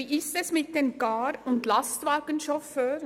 Wie verhält es sich mit den Car- und Lastwagenchauffeuren?